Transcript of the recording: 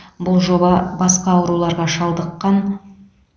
бұл жоба басқа ауруларға шалдыққан